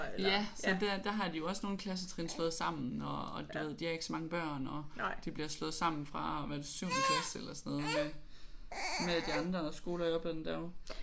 Ja så der der har de jo også nogle klassetrin slået sammen og du ved de har ikke så mange børn og de bliver slået sammen fra hvad er det 7. klasse eller sådan noget med med de andre skoler i oplandet derovre